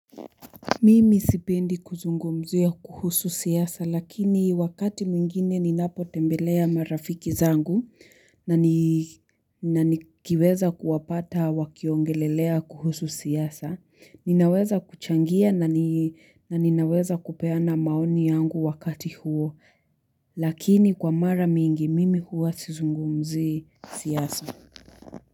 Mimi sipindi kuzungumzia kuhusu siasa lakini wakati mwingine ninapo tembelea marafiki zangu na nikiweza kuwapata wakiongelelea kuhusu siasa. Ninaweza kuchangia na ninaweza kupeana maoni yangu wakati huo lakini kwa mara mingi mimi huwa sizungumzii siasa.